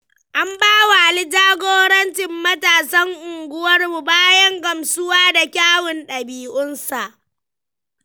An bawa Ali jagorancin matasan unguwarmu bayan gamsuwa da kyawun ɗabi'unsa.